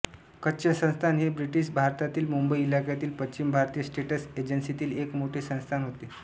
कच्छ संस्थान हे ब्रिटीश भारतातील मुंबई इलाख्यातील पश्चिम भारतीय स्टेट्स एजन्सीतील एक मोठे संस्थान होते